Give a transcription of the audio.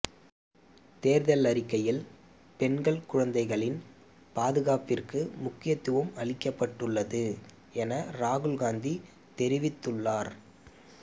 தேர்தல் அறிக்கையில் பெண்கள் குழந்தைகளின் பாதுகாப்பிற்கு முக்கியத்துவம் அளிக்கப்பட்டுள்ளது என ராகுல்காந்தி தெரிவித்துள்ளார்